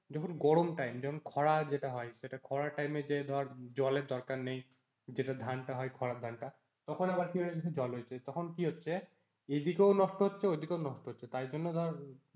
যখন গরম time যখন খরা যেটা হয় সেটা খরার time এ যে ধর জলের দরকার নেই যেটা ধানটা হয় খরার ধানটা তখন আবার কি হয়েছে জল হয়েছে তখন কি হচ্ছে এদিকেও নষ্ট হচ্ছে ঐদিকেও নষ্ট হচ্ছে তাই জন্য ধর,